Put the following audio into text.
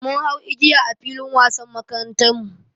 Mun hau igiya a filin wasan makarantarmu.